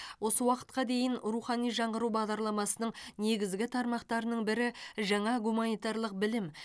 осы уақытқа дейін рухани жаңғыру бағдарламасының негізгі тармақтарының бірі жаңа гуманитарлық білім